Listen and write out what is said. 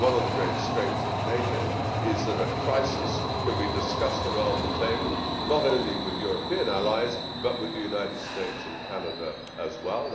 One of the great strengths of NATO is that a crisis can be discussed around the table, not only with European allies but with the United States and Canada as well.